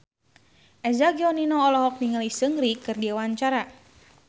Eza Gionino olohok ningali Seungri keur diwawancara